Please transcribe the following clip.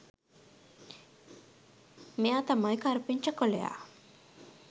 මෙයා තමයි කරපිංචා කොළයා